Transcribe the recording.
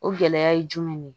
O gɛlɛya ye jumɛn de ye